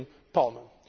of the